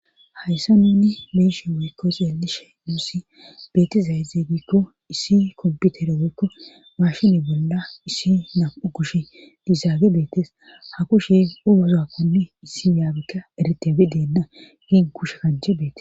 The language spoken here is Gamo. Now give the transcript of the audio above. hayssa nuni beishe weykko zeelishe nuussi beetizayzeygiikko issi komputere woykko maashini bolla issi nam7u kushe diizaage beetes ha kushe urozaakonni issi yaabikka eretebideenna giin kushe kanche beetes